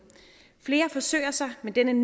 flere forsøger sig med den